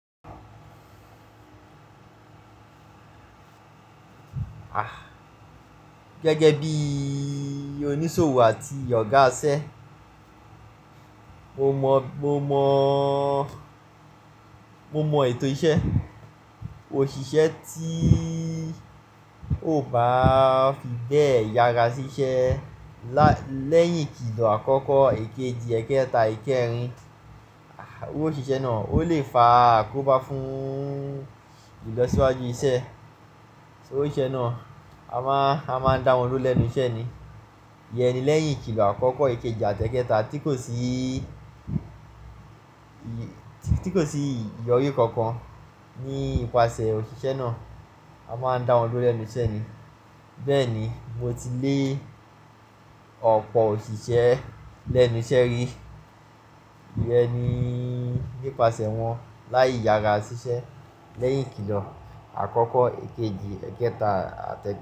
Ah gẹ́gẹ́ bí oníṣòwò àti ọ̀gá isẹ́, mo mọ, mo mọ, mo mọ ètò iṣẹ́. Òṣìṣẹ́ tí ó bá fi bẹ́ẹ̀ yára sí iṣẹ́ lẹ́yìn kìlọ̀ àkọ́kọ́ èkejì, èkẹta, èkeerin, òṣìṣẹ́ náà ó lè fa àkóbá fún ìlọsíwájú iṣẹ́. Òṣìṣẹ́ náà a máa, a máa ń dá wọn lólẹ́nu iṣẹ́ ni. Yẹn ni lẹ́yìn kìlọ̀ àkọ́kọ́ èkejì, àtẹkẹta tí kò sí, tí kò sí ìyọrí kankan nípasẹ̀ òṣìṣẹ́ náà, a máa ń dá wọn lólẹ́nu iṣẹ́ ni. Bẹ́ẹ̀ ni mo ti lé ọ̀pọ̀ òṣìṣẹ́ lẹ́nu iṣẹ́ rí. Bẹ́ẹ̀ ni nípasẹ̀ wọ́n láì yára sí iṣẹ́ lẹ́yìn kìlọ̀ àkọ́kọ́ èkejì, èkẹta, àtẹ.